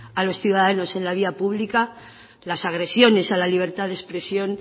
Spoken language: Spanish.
a los ciudadanos en la vía pública las agresiones a la libertad de expresión